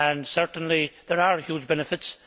Certainly there are huge benefits.